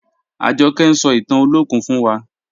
Ajọkẹ̀ ń sọ̀ ìtàn Olokun fún wà.